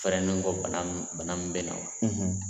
Fɛrɛni kɔ bana min bana min bɛ na o la